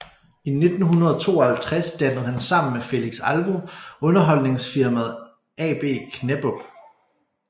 I 1952 dannede han sammen med Felix Alvo underholdningsfirmaet AB Knäppupp